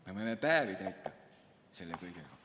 Me võime päevi täita selle kõigega.